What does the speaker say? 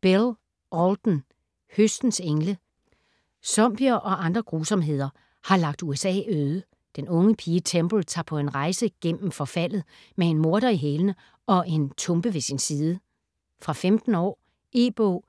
Bell, Alden: Høstens engle Zombier og andre grusomheder har lagt USA øde. Den unge pige Temple tager på en rejse gennem forfaldet med en morder i hælene og en tumpe ved sin side. Fra 15 år. E-bog